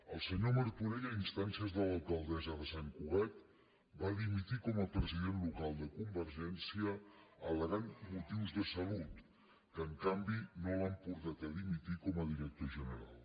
el senyor martorell a instàncies de l’alcaldessa de sant cugat va dimitir com a president local de convergència all’han portat a dimitir com a director general